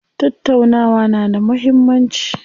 Tattaunawa na da muhimmanci.